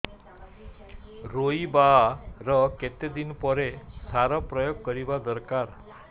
ରୋଈବା ର କେତେ ଦିନ ପରେ ସାର ପ୍ରୋୟାଗ କରିବା ଦରକାର